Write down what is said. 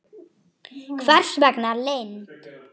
Hvers vegna leynd?